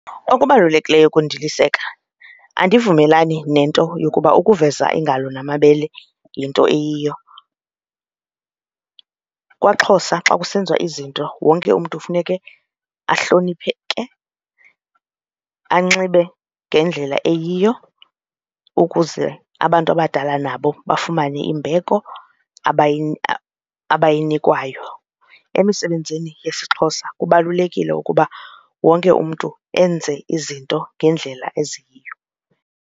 Okubalulekileyo kundiliseka andivumelani nento yokuba ukuveza iingalo namabele yinto eyiyo. KwaXhosa xa kusenziwa izinto wonke umntu funeke ahlonipheke anxibe ngendlela eyiyo ukuze abantu abadala nabo bafumane imbeko abayinikwayo. Emisebenzini yesiXhosa kubalulekile ukuba wonke umntu enze izinto ngendlela eziyiyo.